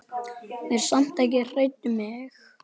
Verið samt ekki hrædd um mig.